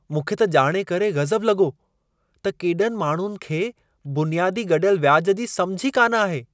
मूंखे त ॼाणे करे गज़ब लॻो त केॾनि माण्हुनि खे बुनियादी गॾियल व्याज जी समिझ ई कान आहे।